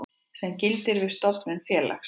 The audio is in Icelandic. sem gildir við stofnun félags.